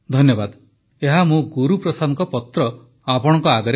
ଏହା ମୁଁ ଗୁରୁପ୍ରସାଦଙ୍କ ପତ୍ର ଆପଣଙ୍କ ଆଗରେ ପଢ଼ୁଥିଲି